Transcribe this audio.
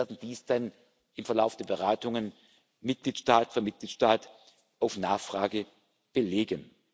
ist. Wir werden dies dann im Verlauf der Beratungen Mitgliedstaat für Mitgliedstaat auf Nachfrage belegen.